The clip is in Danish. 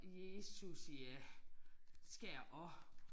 Jesus ja skal jeg også